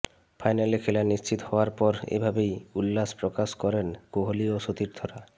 ফাইনালে খেলার নিশ্চিত হওয়ার পর এভাবেই উল্লাস প্রকাশ করেন কোহলি ও সতীর্থরা